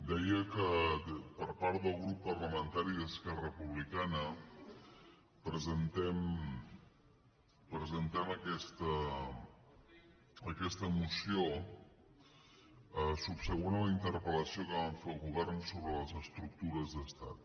deia que per part del grup parlamentari d’esquerra republicana presentem aquesta moció subsegüent a la interpel·lació que vam fer al govern sobre les estructures d’estat